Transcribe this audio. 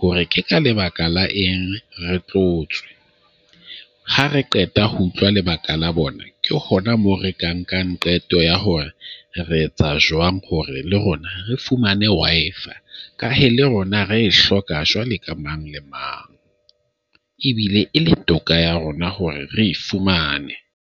hore ke ka lebaka la eng re tlo tswa. Ha re qeta ho utlwa lebaka la bona. Ke hona moo re ka nkang qeto ya hore re etsa jwang hore le rona re fumane Wi-Fi. Ka he, le rona re e hloka jwale ka mang le mang, ebile e la toka ya rona hore re e fumane.